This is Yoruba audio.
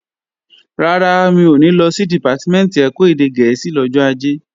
Rárá, mi ò ní lọ sí Dìpátímẹ̀ntì ẹ̀kọ́ èdè gẹ̀ẹ́sì lọ́jọ́ Ajé